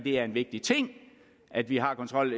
er en vigtig ting at vi har kontrol